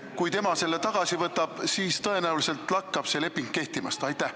Kui tema selle tagasi võtab, siis tõenäoliselt lakkab see leping kehtimast.